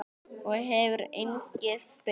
Og hefur einskis spurt.